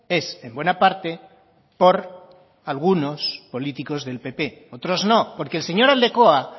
es en buena parte por algunos políticos del pp otros no porque el señor aldecoa